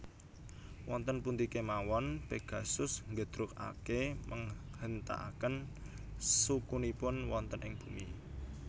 Wonten pundi kemawon Pegasus nggedrugake menghentakkan sukunipun wonten ing bumi